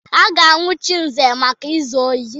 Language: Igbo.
A ga-anwụchi Nze maka izu ohi.